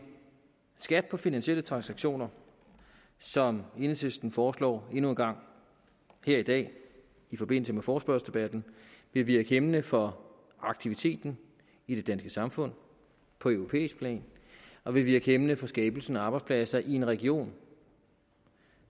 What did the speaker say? skat på finansielle transaktioner som enhedslisten foreslår endnu en gang her i dag i forbindelse med forespørgselsdebatten vil virke hæmmende for aktiviteten i det danske samfund på europæisk plan og vil virke hæmmende for skabelsen af arbejdspladser i en region